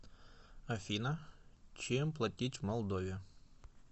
афина чем платить в молдове